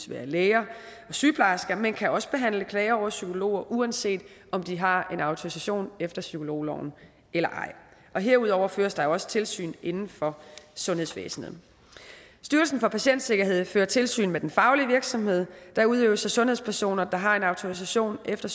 være læger og sygeplejersker men det kan også behandles klager over psykologer uanset om de har en autorisation efter psykologloven eller ej herudover føres der jo også tilsyn inden for sundhedsvæsenet styrelsen for patientsikkerhed fører tilsyn med den faglige virksomhed der udøves af sundhedspersoner der har en autorisation efter